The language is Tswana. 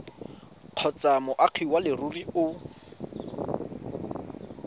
kgotsa moagi wa leruri o